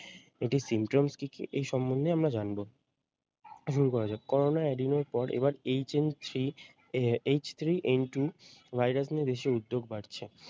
এটি symptoms কি কি এই সম্মন্ধে আমরা জানবো, হম করা যাক করোনা এর পর এবার HN -threeH -three N -two um virus নিয়ে বেশি উদ্যোগ বাড়ছে।